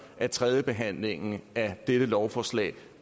at tredjebehandlingen af dette lovforslag